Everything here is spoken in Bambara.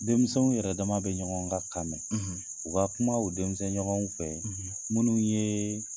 Denmisɛnw yɛrɛ dama bɛ ɲɔgɔn ka kan mɛn, , u ka kuma o denmisɛn ɲɔgɔnw fɛ, , minnu ye